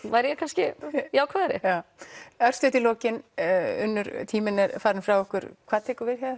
væri ég kannski jákvæðari já örstutt í lokin Unnur tíminn er farinn frá okkur hvað tekur við hjá